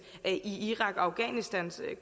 i irak og afghanistankrigene